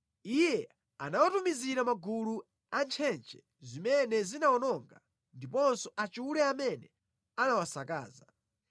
Iye anawatumizira magulu a ntchentche zimene zinawawononga, ndiponso achule amene anawasakaza.